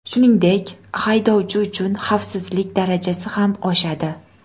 Shuningdek, haydovchi uchun xavfsizlik darajasi ham oshadi.